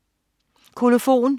Kolofon